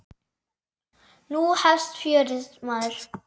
Nú hefst fjörið, maður.